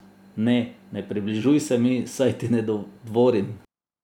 Ne, ne približuj se mi, saj ti ne dvorim.